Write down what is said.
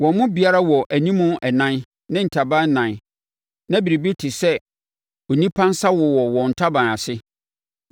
Wɔn mu biara wɔ animu ɛnan ne ataban ɛnan na biribi a ɛte sɛ onipa nsa wowɔ wɔn ntaban ase.